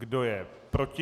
Kdo je proti?